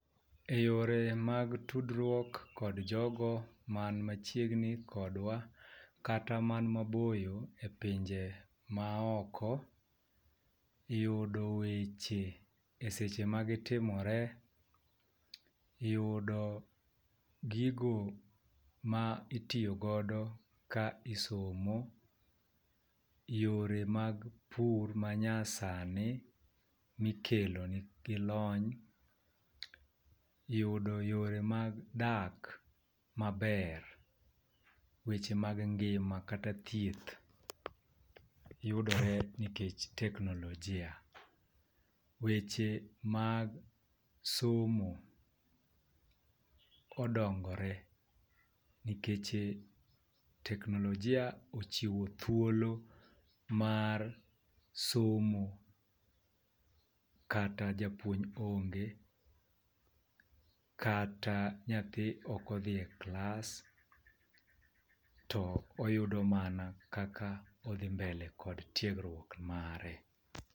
Eyore mag tudruok kod jogo man machiegni kodwa kata man maboyo epinje ma oko, yudo weche eseche magi timore. Yudo gigo ma itiyo godo ka isomo, yore mag pur manyasani mikelo gi lony yudo, yore mag dak maber, weche mag ngima kata thieth, yuodre nikech teknolojia. weche mag somo odongore nikech teknolojia ochiwo thuolo mar somo kata japuonj onge, kata nyathi ok odhie klas to oyudo mana kaka odhi mbele kod tiegruok mare.